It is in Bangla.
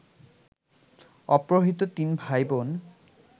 অপহৃত তিন ভাই-বোন